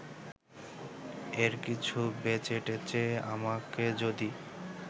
এর কিছু বেচেটেচে আমাকে যদি